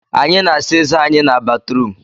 Anyị na-asa ezé anyị n'batrum